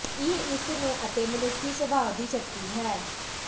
ਇਹ ਇਸ ਨੂੰ ਅਤੇ ਮਨੁੱਖੀ ਸੁਭਾਅ ਦੀ ਸ਼ਕਤੀ ਹੈ